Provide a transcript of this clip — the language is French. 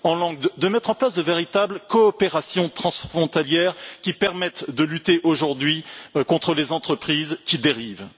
Il importe de mettre en place de véritables coopérations transfrontalières qui permettent de lutter aujourd'hui contre les entreprises qui dérivent.